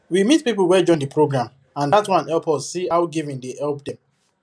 we meet people wey join the program and that one help us see how giving dey help dem